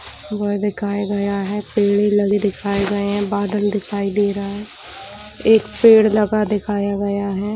वह दिखाई गया है पेड़ लगे दिखाए गए है बादल दिखाई दे रहा है एक पेड़ लगा दिखाया गया है ।